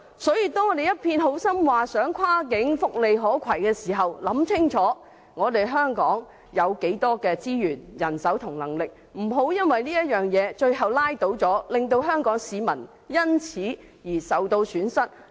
所以，當我們一片好心地提出福利跨境可攜性等安排時，請大家先考慮清楚香港擁有多少資源和人手，不要最終被這點拉倒，令香港市民因而蒙受損失。